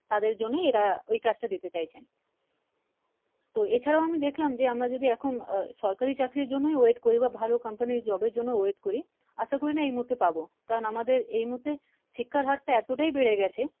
তাদের জন্যে এরা ওই কাজ টা দিতে চাইছেন তো এছাড়া আমি দেখলাম যে আমরা যদি এখন আহ সরকারি চাকরির জন্য wait করি বা ভালো Company Job এর জন্য wait করি আশ করি না এই মুহূর্তে পাবো কারন আমাদের এই মুহূর্তে শিক্ষার হারটা এতোটাই বেড়ে গেছে ।